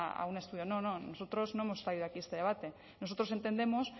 a un estudio no no nosotros no hemos traído aquí este debate nosotros entendemos